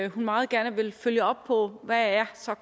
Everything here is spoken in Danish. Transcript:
hun meget gerne vil følge op på hvad